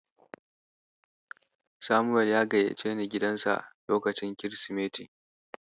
Samuel ya gayyaceni gidansa lokacin Kirsimeti.